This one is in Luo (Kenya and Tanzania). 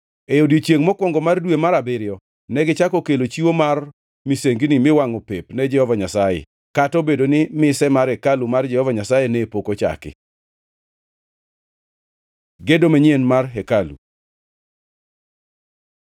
E odiechiengʼ mokwongo mar dwe mar abiriyo, negichako kelo chiwo mar misengini miwangʼo pep ne Jehova Nyasaye, kata obedo ni mise mar hekalu mar Jehova Nyasaye ne pok ochaki. Gedo manyien mar hekalu